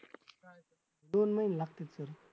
दोन महिने लागतील sir